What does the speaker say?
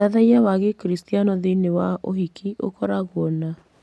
Ũthathaiya wa Gĩkristiano thĩinĩ wa ũhiki ũkoragwo na